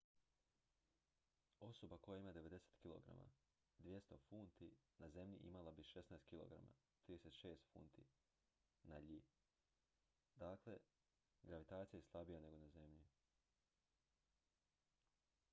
osoba koja ima 90 kg 200 funti na zemlji imala bi 16 kg 36 funti na iji. dakle gravitacija je slabija nego na zemlji